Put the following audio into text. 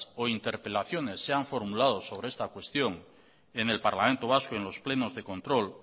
o interpelaciones sean formulados sobre esta cuestión en el parlamento vasco o en los plenos de control